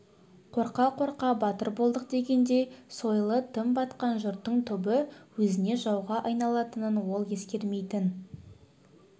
қорқа-қорқа батыр болдық дегендей сойылы тым батқан жұрттың түбі өзіне жауға айналатынын ол ескермейтін